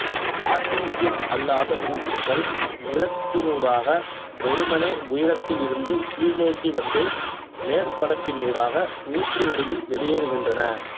artesian அல்லாத ஊற்றுக்கள் நிலத்தினூடாக வெறுமனே உயரத்தில் இருந்து கீழ் நோக்கி வந்து மேற்பரப்பினூடாக ஊற்று வடிவில் வெளியேறுகின்றன